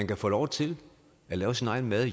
kan få lov til at lave sin egen mad